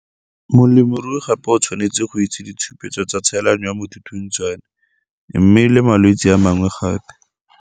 Molemirui gape o tshwanetse go itse ditshupetso tsa tshelano ya mothuthuntshwane mme le malwetse a mangwe gape.